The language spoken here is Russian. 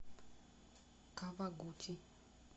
кавагути